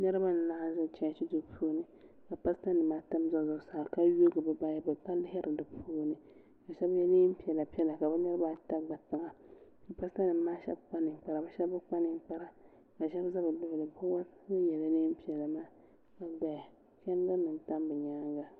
niriba n laɣim ʒɛ chɛchi do puuni ka pasita nimaata n bɛ be sani ka yoigi be bayibuli ka lihiri di puuni ka shɛbi yɛ nɛpiɛlla ka be niribaata gbatiŋa ka pasita nimaa shɛbi kpa nɛkpara ka shɛbi be kpa nɛkpara ka yiŋa bɛ bɛ be puuni ka yɛ nɛpiɛlla doya chɛndirinim tam be nyɛŋa